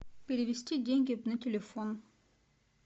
перевести деньги на телефон